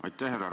Aitäh!